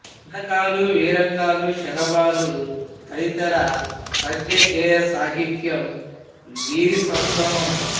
దండకాలు వీరంగాలు శరభాలు తదితర పద్య గేయ సాహిత్యం వీరి సొంతం